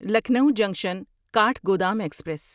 Lucknow junction Kathgodam express